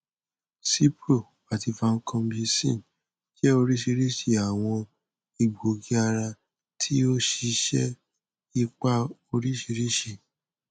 cipro ati vancomycin jẹ oriṣiriṣi awọn egboogiara ti o si ṣe ipa oriṣiriṣi